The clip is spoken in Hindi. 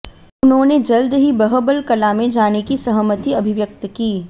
उन्होंने जल्द ही बहबल कलाँ में जाने की सहमति अभिव्यक्त की